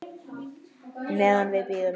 Meðan við bíðum.